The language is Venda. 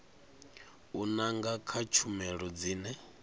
u nanga kha tshumelo dzine